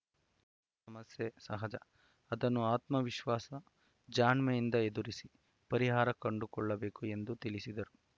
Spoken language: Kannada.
ಸಮಸ್ಯೆ ಸಹಜ ಅದನ್ನು ಆತ್ಮವಿಶ್ವಾಸ ಜಾಣ್ಮೆಯಿಂದ ಎದುರಿಸಿ ಪರಿಹಾರ ಕಂಡುಕೊಳ್ಳಬೇಕು ಎಂದು ತಿಳಿಸಿದರು